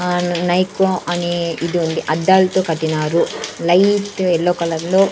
ఆ నైట్ అనే ఇది ఉంది అద్దాలతో కట్టినారు లైట్ ఎల్లో కలర్లో --